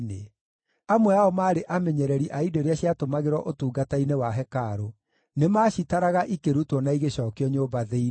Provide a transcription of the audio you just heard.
Amwe ao maarĩ amenyereri a indo iria ciatũmagĩrwo ũtungata-inĩ wa hekarũ; nĩmacitaraga ikĩrutwo na igĩcookio nyũmba thĩinĩ.